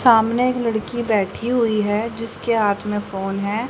सामने लड़की बैठी हुई हैं जिसके हाथ में फोन हैं।